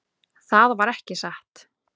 Það var ekki satt.